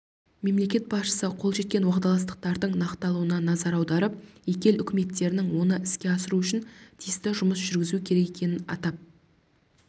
мемлекет басшысы қол жеткен уағдаластықтардың нақтылануына назар аударып екі ел үкіметтерінің оны іске асыру үшін тиісті жұмыс жүргізу керек екенін атап